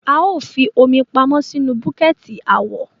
A o fí omi pamọ sínú buketi awọ